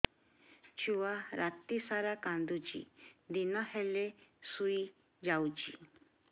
ଛୁଆ ରାତି ସାରା କାନ୍ଦୁଚି ଦିନ ହେଲେ ଶୁଇଯାଉଛି